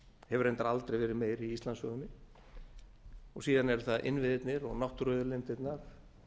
hefur reyndar aldrei verið meiri í íslandssögunni síðan eru það innviðirnir og náttúruauðlindirnar